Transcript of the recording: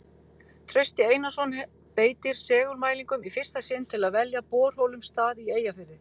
Trausti Einarsson beitir segulmælingum í fyrsta sinn til að velja borholum stað í Eyjafirði.